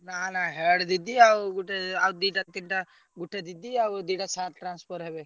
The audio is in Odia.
ନା ନା head ଦିଦି ଆଉ ଗୋଟେ ଆଉ ଦିଟା ତିନିଟା ଗୋଟେ ଦିଦି ଆଉ ଦିଟା sir transfer ହେବେ।